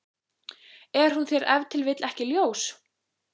Er hún þér ef til vill ekki ljós?